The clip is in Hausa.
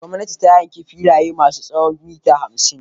Gwamnati ta yanka filaye masu tsawon mita hamsin.